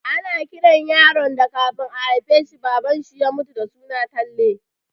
Ana kiran yaron da kafin a haifa shi Baban shi ya mutu da suna Talle